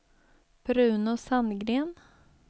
Bruno Sandgren